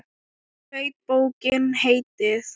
Hlaut bókin heitið